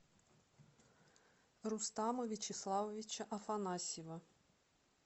рустама вячеславовича афанасьева